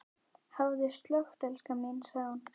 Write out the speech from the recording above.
Hafðu slökkt elskan mín, sagði hún.